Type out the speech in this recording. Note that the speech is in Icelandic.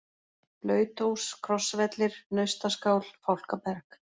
Blautós, Krossvellir, Naustaskál, Fálkaberg